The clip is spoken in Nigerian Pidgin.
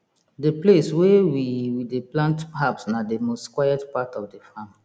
the place wey we we dey plant herbs na the most quiet part of the farm